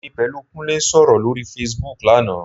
Èmi pẹ̀lú Kúnlé sọ̀rọ̀ lórí Facebook lánàá